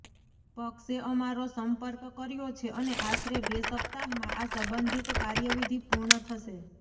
પક્ષે અમારો સંપર્ક કર્યો છે અને આશરે બે સપ્તાહમાં આ સંબંધિત કાર્યવિધિ પૂર્ણ થશે